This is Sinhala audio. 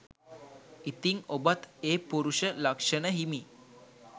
ඉතිං ඔබත් ඒ පුරුෂ ලක්ෂණ හිමි